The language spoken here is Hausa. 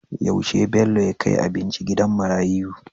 Yaushe Bello ya kai abinci gidan marayiu?